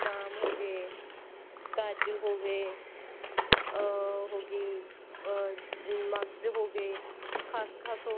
ਜਿਵੇਂ ਬਦਾਮ ਹੋ ਗਏ ਕਾਜੂ ਹੋ ਗਏ ਅਹ ਹੋ ਗਈ ਅਹ ਮਗਜ ਹੋ ਗਏ ਖਸ ਖਸ ਹੋ